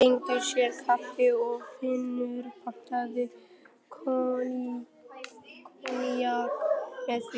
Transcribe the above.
Þau fengu sér kaffi og Finnur pantaði koníak með því.